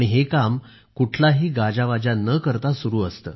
हे काम अगदी अबोलपणे सुरु असते